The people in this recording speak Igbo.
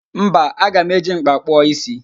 Mba, aga m eji m̀kpá kpụọ ísí